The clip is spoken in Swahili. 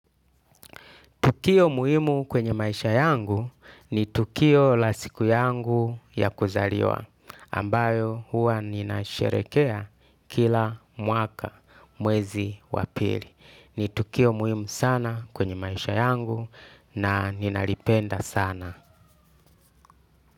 Tukio muhimu kwenye maisha yangu ni tukio la siku yangu ya kuzaliwa ambayo huwa nina sherehekea kila mwaka mwezi wapili. Ni tukio muhimu sana kwenye maisha yangu na ninalipenda sana.